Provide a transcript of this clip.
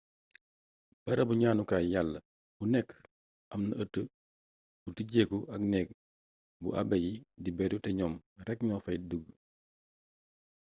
barabu ñaanukaay yàlla bu nekk amna ëtt bu tijjeeku ak neeg bu abe yi di beru te ñoom rekk ñoo fay dugg